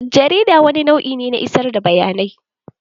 Jarida wani nau'i ne na isar da bayanai.